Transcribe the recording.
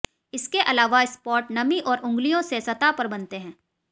इसके अलावा स्पॉट नमी और उंगलियों से सतह पर बनते हैं